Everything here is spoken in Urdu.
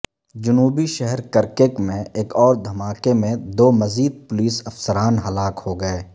جنوبی شہر کرکک میں ایک اور دھما کے میں دو مزید پولیس افسران ہلاک ہوگئے